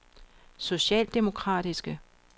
socialdemokratiske